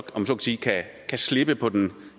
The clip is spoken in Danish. må sige kan slippe på den